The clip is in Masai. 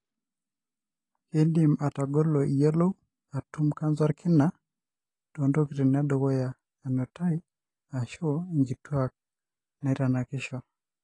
kindim atagolo iyiolou (atum) canser olkina tonkatitin edukuya enutaiashu inkituak naitanakisho.